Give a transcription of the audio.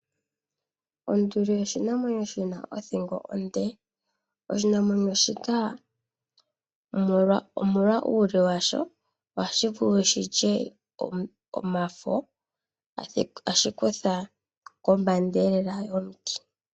Onduli oshinamwenyo shina othingo onde. Oshinamwenyo, shika omolwa uule washo oha shi vulu okulya omafo, ta shi kutha komba yomiti.